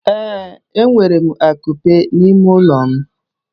Ee, enwere akupe n'ime ụlọ m.